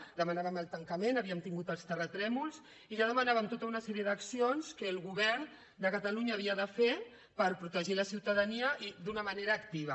en demanàvem el tancament havíem tingut els terratrèmols i ja demanàvem tota una sèrie d’accions que el govern de catalunya havia de fer per protegir la ciutadania i d’una manera activa